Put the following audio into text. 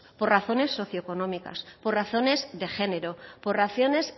por razones socioeconómicas por razones de género por razones